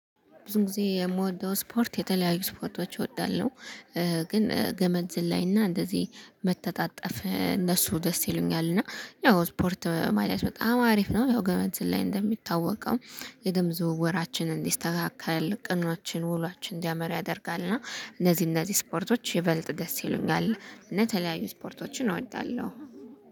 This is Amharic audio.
ብዙ ጊዜ የምወደው ስፖርት የተለያዩ ስፖርቶች እወዳለሁ። ግን ገመድ ዝላይ እና እንደዚህ መተጣጠፍ እነሱ ደስ ይሉኛል እና ያው ስፖርት ማድረግ በጣም አሪፍ ነው። ያው ገመድ ዝላይ እንደሚታወቀው የደም ዝውውራችንን እንዲስተካከል ቀናችን ውሏችን እንዲያመር ያደርጋል። እና እነዚህ እነዚህ ስፖርቶች ይበልጥ ደስ ይሉኛል። እና የተለያዩ ስፖርቶችን እወዳለሁ